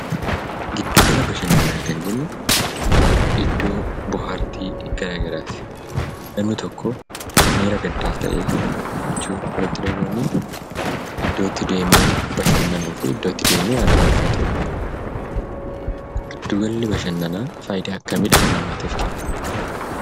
Giddu gala bashannannaa kan jennu iddoo bohaartii garaagaraati. Namni tokkoo miira gaddaas ta'ee miira gammachuu yoo itti dhaga'amee iddootti deemee bashannanuu fi iddootti deemee aara galfatudha. Giddu galli bashannanaa faayidaa akkamii dhala namaatif kenna?